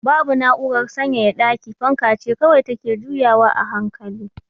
Babu na'urar sanyaya daki, fanka ce kawai take juyawa a hankali.